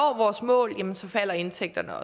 vores mål falder indtægterne